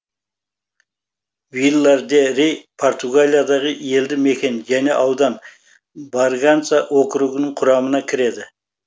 вилар де рей португалиядағы елді мекен және аудан барганса округінің құрамына кіреді